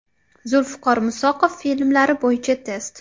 Zulfiqor Musoqov filmlari bo‘yicha test.